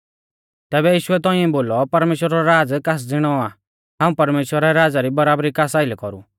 तैबै यीशुऐ तौंइऐ बोलौ परमेश्‍वरा रौ राज़ कास ज़िणौ आ हाऊं परमेश्‍वरा रै राज़ा री बराबरी कास आइलै कौरु